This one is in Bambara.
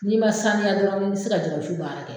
N'i ma sanuya dɔrɔn i se ka jɛgɛ wusu baara kɛ